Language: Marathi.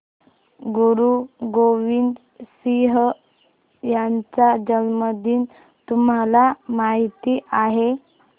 गुरु गोविंद सिंह यांचा जन्मदिन तुम्हाला माहित आहे